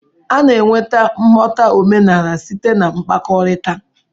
A na-enweta nghọta omenala site na mkpakọrịta.